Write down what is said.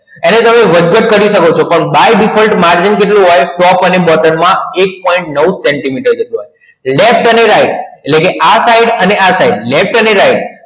એને તમે વધઘટ કરી સકો છો પણ by default margin કેટલું હોયે top અને bottom માં એક point નવ સેન્ટીમીટર જેટલું હોયે laft અને right એટલે કે આ side અને આ side